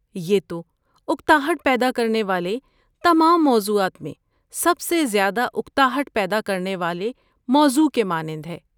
یہ تو اکتاہٹ پیدا کرنے والے تمام موضوعات میں سب سے زیادہ اکتاہٹ پیدا کرنے والے موضوع کے مانند ہے۔